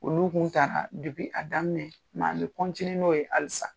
Olu tun taara a daminɛ bɛ n'olu ye halisa